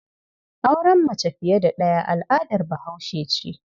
Auren mace fiye da ɗaya al'adar Bahaushe ce.